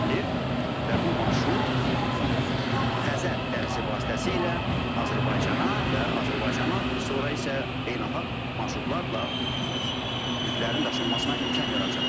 Və bu marşrut Xəzər dənizi vasitəsilə Azərbaycana və Azərbaycan sonra isə beynəlxalq marşrutlarla yüklərin daşınmasına imkan yaradacaqdır.